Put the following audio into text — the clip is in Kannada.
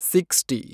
ಸಿಕ್ಷ್ಟಿ